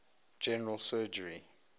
general surgery